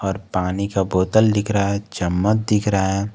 और पानी का बोतल दिख रहा है चम्मच दिख रहा है।